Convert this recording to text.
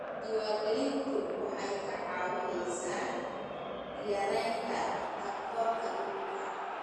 Diiwaangelintu waxay kaa caawinaysaa yaraynta takoorka dhulka.